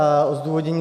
A zdůvodnění.